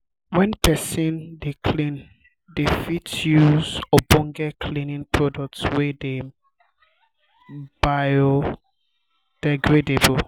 when person um dey clean dem fit use um ogbonge cleaning um product wey dey bio-degradable